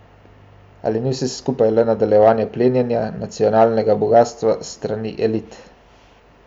A ni vse skupaj le nadaljevanje plenjenja nacionalnega bogastva s strani elit?